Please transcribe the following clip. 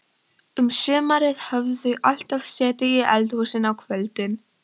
Um sumarið höfðu þau alltaf setið í eldhúsinu á kvöldin.